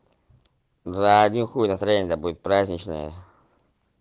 да один хуй то настроение будет праздничное